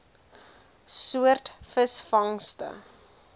soort visvangste